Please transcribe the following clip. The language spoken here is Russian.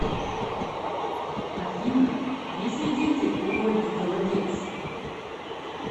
афина есть ли дети у ольги голодец